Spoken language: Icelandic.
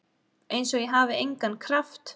Einsog ég hafi engan kraft.